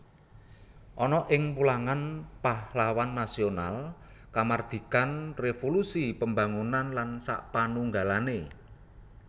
Ana ing wulangan pahlawan nasional kamardikan revolusi pembangunan lan sapanunggalane